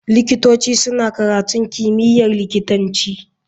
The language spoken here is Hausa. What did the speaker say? Likitoci suna karatun kimiyyar likitanci.